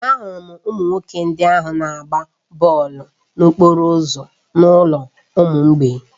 Ahụrụ m ụmụaka ndị ahụ na-agba bọọlụ n'okporo ụzọ n'ụlọ ụmụ mgbei